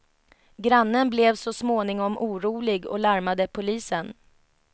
Grannen blev så småningom orolig och larmade polisen.